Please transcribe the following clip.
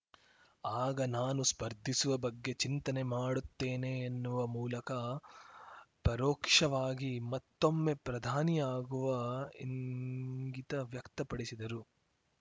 ಆಗ ನಾನು ಸ್ಪರ್ಧಿಸುವ ಬಗ್ಗೆ ಚಿಂತನೆ ಮಾಡುತ್ತೇನೆ ಎನ್ನುವ ಮೂಲಕ ಪರೋಕ್ಷವಾಗಿ ಮತ್ತೊಮ್ಮೆ ಪ್ರಧಾನಿ ಆಗುವ ಇಂಗಿತ ವ್ಯಕ್ತಪಡಿಸಿದರು